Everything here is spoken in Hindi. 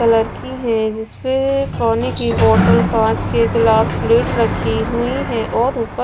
कलर की है जिसपे पानी की बॉटल कांच के गिलास प्लेट रखी हुई है और ऊपर--